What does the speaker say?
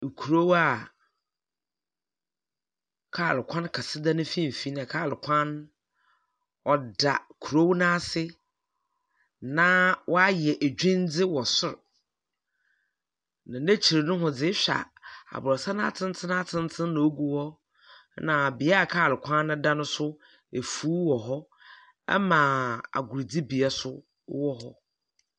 Nkurow a kaal kwan kɛse da ne mfinfin na kaal kwan no, ɔda kurow no ase, na wɔahyɛ edwuindze wɔ sor. Na n'ekyir nohoa dzd ehwɛ a, aborosan atsentsen atsentsen na ogu hɔ, na bea a kaal kwan no dan no nso, efuw wɔ hɔ, na agordzibea nso wɔ hɔ.